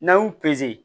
N'an y'u